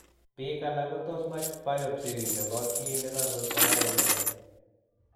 Biik alak kotos komach biopsy nebo kii ne karuut konai kole nee.